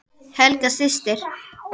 Helga systir.